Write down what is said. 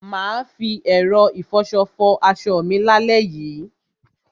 Mà á fi ẹ̀rọ ìfọṣọ fọ aṣọ mi lálẹ́ yìí.